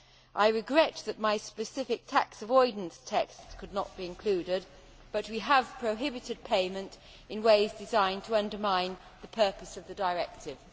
I regret that my specific tax avoidance texts could not be included, but we have prohibited payment in ways designed to undermine the purpose of the directive.